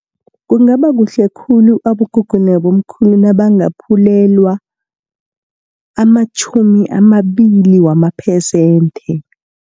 Kungaba kuhle khulu, abogogo nabomkhulu nabangaphulelwa amatjhumi amabili wamaphesenthe.